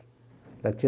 Ela tinha